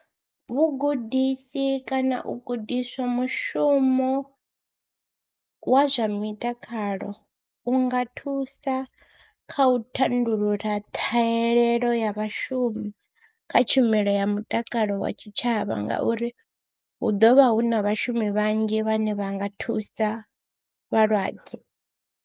Vhugudisi kana u gudiswa mushumo wa zwa mitakalo u nga thusa kha u thandululo ṱhahelelo ya vhashumi kha tshumelo ya mutakalo wa tshitshavha ngauri hu ḓo vha hu na vhashumi vhanzhi vhane vha nga thusa vhalwadze.